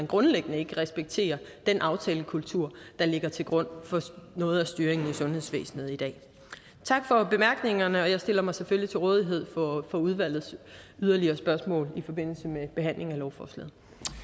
grundlæggende ikke respekterer den aftalekultur der ligger til grund for noget af styringen i sundhedsvæsenet i dag tak for bemærkningerne og jeg stiller mig selvfølgelig til rådighed for udvalgets yderligere spørgsmål i forbindelse med behandlingen af lovforslaget